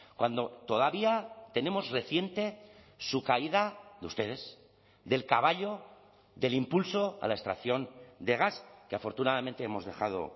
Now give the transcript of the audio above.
cuando todavía tenemos reciente su caída de ustedes del caballo del impulso a la extracción de gas que afortunadamente hemos dejado